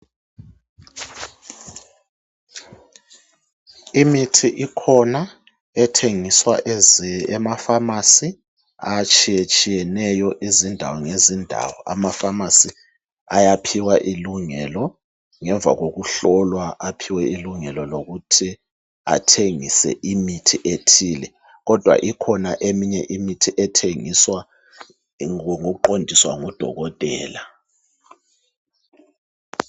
imithi ikhona ethengiswa ema phamarcy atshiyetshiyeneyo ngezindawo ngezindawo ama phamarcy ayaphiwa ilungelo ngemva kokuhlolwa aphiwe ilungelo lokuthi bathengise imithi ethile kodwa ikhona eminye imithi ethengiswa ngokuqondiswa ngo dokotela